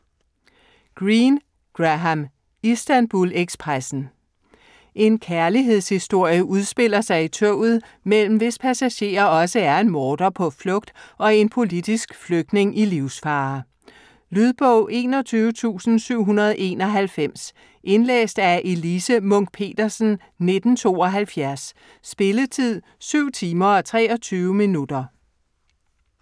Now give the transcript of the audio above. Greene, Graham: Istanbul-ekspressen En kærlighedshistorie udspiller sig i toget, mellem hvis passagerer også er en morder på flugt og en politisk flygtning i livsfare. Lydbog 21791 Indlæst af Elise Munch-Petersen, 1972. Spilletid: 7 timer, 23 minutter.